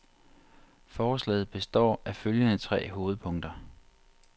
Forslaget består af følgende tre hovedpunkter.